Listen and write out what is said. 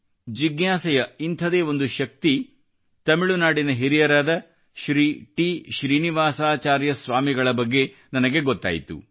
ಜಿಜ್ಞಾಸೆಯ ಇಂಥದೇ ಒಂದು ಶಕ್ತಿ ತಮಿಳುನಾಡಿನ ಹಿರಿಯರಾದ ಶ್ರೀ ಟಿ ಶ್ರೀನಿವಾಸಾಚಾರ್ಯ ಸ್ವಾಮಿಗಳ ಬಗ್ಗೆ ನನಗೆ ಗೊತ್ತಾಯಿತು